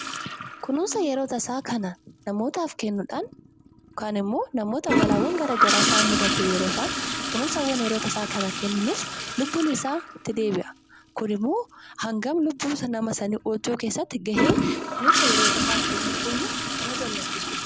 Kunuunsa yeroo tasaa kana namootaaf kennuudhaan yookaan immoo namoota balaawwan garaa garaa isaan mudate yeroo isaan kunuunsa yeroo tasaa kana kenninuuf lubbuun isaa itti deebi'a. Kuni immoo hanga lubbuu sana keessatti gahee kunuunsa yeroo tasaa kennuu keenya nama gammachiisudha.